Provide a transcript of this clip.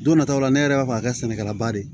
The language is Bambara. Don nataw la ne yɛrɛ b'a fɔ a ka kɛ sɛnɛkɛlaba de ye